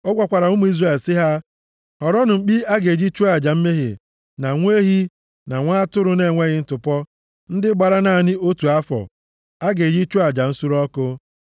Ọ gwakwara ụmụ Izrel sị ha, ‘Họrọnụ mkpi a ga-eji chụọ aja mmehie, na nwa ehi, na nwa atụrụ na-enweghị ntụpọ, ndị gbara naanị otu afọ, a ga-eji chụọ aja nsure ọkụ,